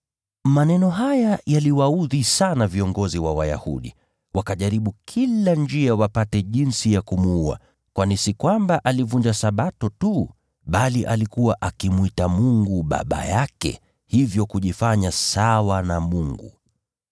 Maneno haya yaliwaudhi sana viongozi wa Wayahudi. Wakajaribu kila njia wapate jinsi ya kumuua, kwani si kwamba alivunja Sabato tu, bali alikuwa akimwita Mungu Baba yake, hivyo kujifanya sawa na Mungu.